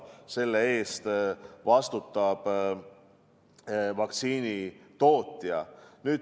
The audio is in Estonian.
Selle eest vastutab vaktsiini tootja.